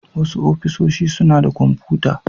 Wasu ofishi suna da kwamfuta.